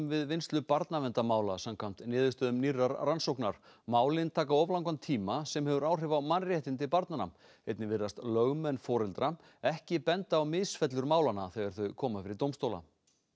við vinnslu barnaverndamála samkvæmt niðurstöðum nýrrar rannsóknar málin taka of langan tíma sem hefur áhrif á mannréttindi barnanna einnig virðast lögmenn foreldra ekki benda á misfellur málanna þegar þau koma fyrir dómstóla